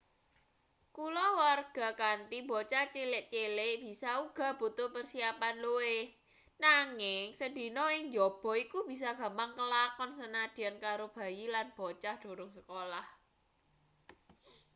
kulawarga kanthi bocah cilik-cilik bisa uga butuh persiapan luwih nanging sedina ing njaba iku bisa gampang kelakon sanadyan karo bayi lan bocah durung sekolah